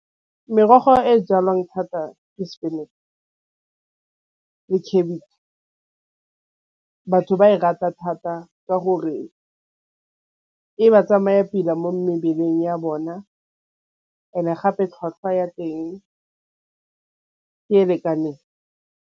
Merogo e jalwang thata ke spinach le cabbage, batho ba e rata thata ka gore e ba tsamaya pila mo mebeleng ya bona and-e gape tlhwatlhwa ya teng ke e lekaneng.